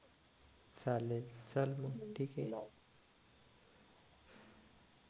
चालेल चल मग ठीक ये